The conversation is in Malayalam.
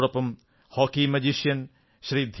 അതോടൊപ്പം ഹോക്കി മാന്ത്രികൻ ശ്രീ